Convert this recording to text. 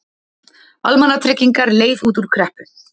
Almannatryggingar leið út úr kreppu